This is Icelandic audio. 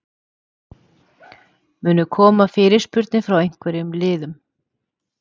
Munu koma fyrirspurnir frá einhverjum liðum?